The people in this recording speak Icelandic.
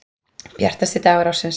Bjartasti dagur ársins.